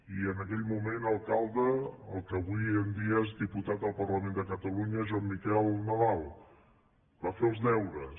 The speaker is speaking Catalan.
i en aquell moment alcalde el que avui en dia és diputat al parlament de catalunya joan miquel nadal va fer els deures